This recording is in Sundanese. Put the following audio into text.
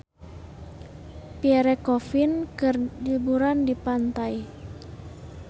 Pierre Coffin keur liburan di pantai